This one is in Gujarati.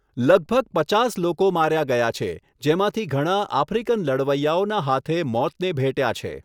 લગભગ પચાસ લોકો માર્યા ગયા છે, જેમાંથી ઘણા આફ્રિકન લડવૈયાઓના હાથે મોતને ભેટ્યા છે.